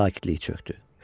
Sakitlik çökdü.